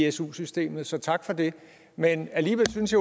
i su systemet så tak for det men alligevel synes